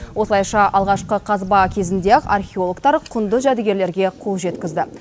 осылайша алғашқы қазба кезінде ақ археологтар құнды жәдігерлерге қол жеткізді